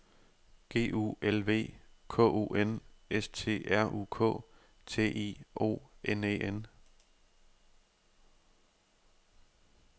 G U L V K O N S T R U K T I O N E N